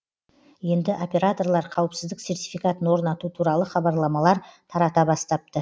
енді операторлар қауіпсіздік сертификатын орнату туралы хабарламалар тарата бастапты